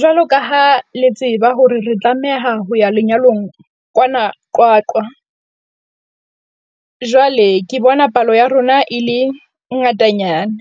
Jwalo ka ha le tseba hore re tlameha ho ya lenyalong kwana Qwaqwa jwale, ke bona palo ya rona e le ngatanyana,